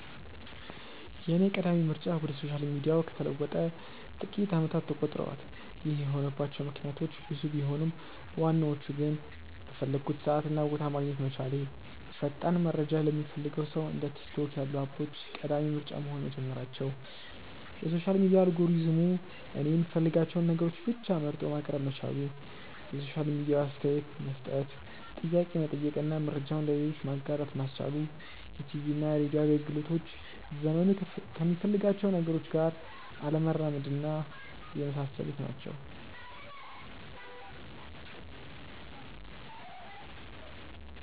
የኔ ቀዳሚ ምርጫ ወደ ሶሻል ሚዲያው ከተለወጠ ጥቂት አመታት ተቆጥረዋል። ይህ የሆነባቸው ምክንያቶች ብዙ ቢሆኑም ዋናዎቹ ግን:- በፈለኩበት ሰዓት እና ቦታ ማግኘት መቻሌ፣ ፈጣን መረጃ ለሚፈልግ ሰው እንደ ቲክቶክ ያሉ አፖች ቀዳሚ ምርጫ መሆን መጀመራቸው፣ የሶሻል ሚዲያ አልጎሪዝሙ እኔ የምፈልጋቸውን ነገሮች ብቻ መርጦ ማቅረብ መቻሉ፣ የሶሻል ሚዲያው አስተያየት መስጠት፣ ጥያቄ መጠየቅ እና መረጃውን ለሌሎች ማጋራት ማስቻሉ፣ የቲቪና ሬድዮ አገልግሎቶች ዘመኑ ከሚፈልጋቸው ነገሮች ጋር አለመራመድና የመሳሰሉት ናቸው።